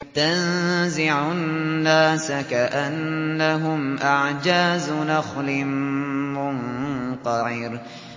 تَنزِعُ النَّاسَ كَأَنَّهُمْ أَعْجَازُ نَخْلٍ مُّنقَعِرٍ